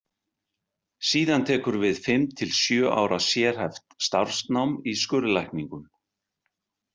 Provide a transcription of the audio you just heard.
Síðan tekur við fimm til sjö ára sérhæft starfsnám í skurðlækningum.